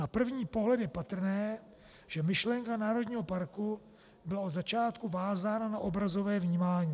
Na první pohled je patrné, že myšlenka národního parku byla od začátku vázána na obrazové vnímání.